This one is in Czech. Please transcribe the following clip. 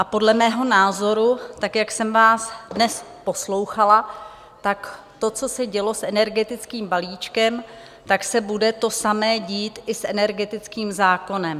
A podle mého názoru, tak jak jsem vás dnes poslouchala, tak to, co se dělo s energetickým balíčkem, tak se bude to samé dít i s energetickým zákonem.